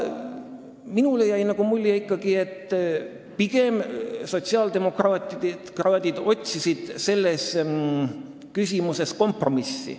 Mulle jäi nagu mulje, et sotsiaaldemokraadid otsisid selles küsimuses pigem kompromissi.